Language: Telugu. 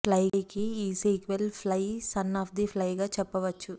ఫ్లైకి ఈ sequel Fly Son of the Fly గా చెప్పవచ్చు